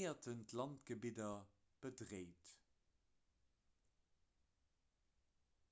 éier en d'landgebidder bedréit